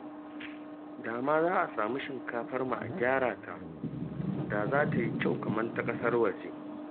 Da ma za a samu shinkafarmu a gyara ta, da za ta yi kyau kamar ta ƙasar waje